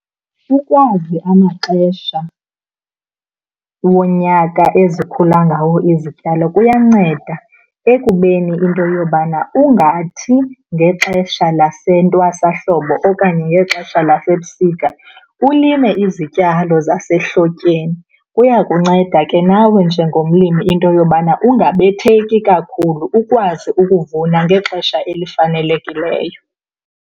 Ukwazi amaxesha wonyaka ezikhula ngawo izityalo kuyanceda ekubeni into yobana ungathi ngexesha lasentwasahlobo okanye ngexesha lasebusika ulime izityalo zasehlotyeni. Kuyakunceda ke nawe njengomlimi into yobana ungabetheki kakhulu ukwazi ukuvuna ngexesha elifanelekileyo.